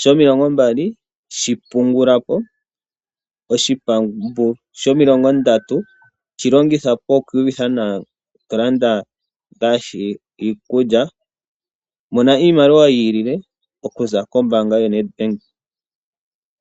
shomilongombali shi pungula po, oshipambu shomilongondatu shi longitha po oku iyuvitha nawa to landa ngaashi iikulya. Mona iimaliwa yi ilile okuza kombaanga yoNedbank.